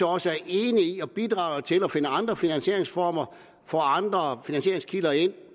også er enige i at bidrage til at finde andre finansieringsformer få andre finansieringskilder ind